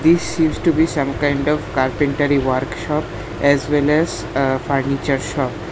This seems to be some kind of carpentery workshop as well as a furniture shop.